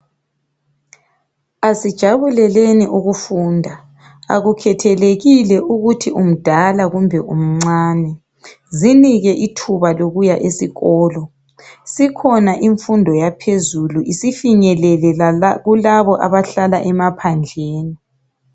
Asijabuleleni ukufunda akukhathelekile ukuthi umdala kumbe umncane zinike ithuba lokuya esikolo. Sikhona imfundo yaphezulu isifinyelele lakulaba abahlala emaphandleni.